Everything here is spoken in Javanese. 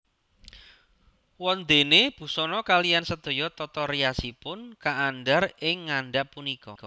Wondéné busana kaliyan sedaya tata riasipun kaandhar ing ngandhap punika